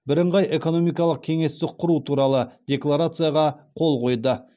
бірыңғай экономикалық кеңестік құру туралы декларацияға қол қойды